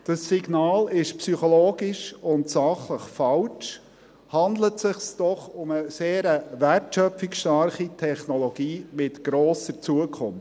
Dieses Signal ist psychologisch und sachlich falsch, handelt es sich doch um eine sehr wertschöpfungsstarke Technologie mit grosser Zukunft.